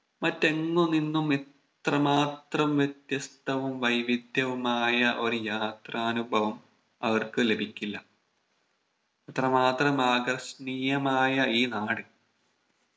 മറ്റെങ്ങു നിന്നും ഇത്ര മാത്രം വ്യത്യസ്തവും വൈവിധ്യവുമായ ഒരു യാത്രാ അനുഭവം അവർക്ക് ലഭിക്കില്ല അത്ര മാത്രം ആകർഷണീയമായ ഈ നാട്